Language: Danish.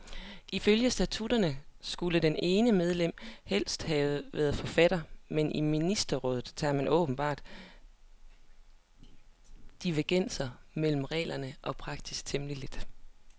Ifølge statutterne skulle det ene medlem helst have været forfatter, men i ministerrådet tager man åbenbart divergenser mellem regler og praksis temmelig let.